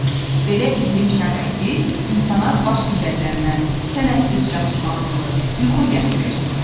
Belə iqlim şəraiti insana baş gicəllənmə, tənəffüs çatışmazlığı, yuxu gətirir.